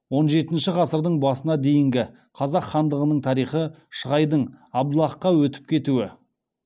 он жетінші ғасырдың басына дейінгі қазақ хандығының тарихы шығайдың абдаллахқа өтіп кетуі